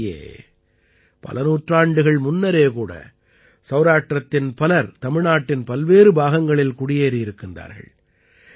உள்ளபடியே பல நூற்றாண்டுகள் முன்னரே கூட சௌராஷ்டிரத்தின் பலர் தமிழ்நாட்டின் பல்வேறு பாகங்களில் குடியேறியிருக்கின்றார்கள்